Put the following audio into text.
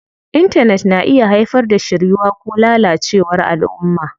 Intanet na iya haifar da shiryuwa ko lalacewar alʼumma.